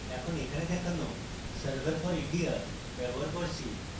আমি এখানে দেখানো server for india ব্যবহার করছি